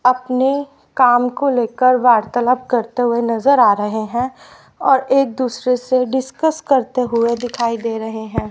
अपने काम को लेकर वार्तालाप करते हुए नजर आ रहे हैं और एक दूसरे से डिस्कस करते हुए दिखाई दे रहे हैं।